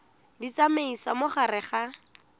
di tsamaisa mo gare ga